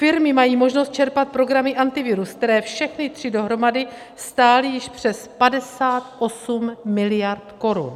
Firmy mají možnost čerpat programy Antivirus, které všechny tři dohromady stály již přes 58 miliard korun.